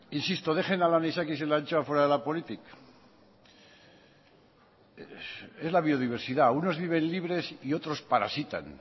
insisto dejen al anisakis y a la anchoa fuera de la política es la biodiversidad unos viven libres y otros parasitan